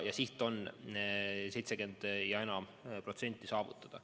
Siht on 70 ja enam protsenti saavutada.